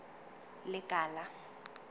lekala